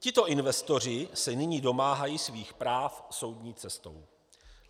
Tito investoři se nyní domáhají svých práv soudní cestou.